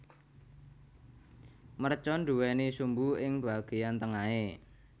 Mercon nduwéni sumbu ing bagéyan tengahé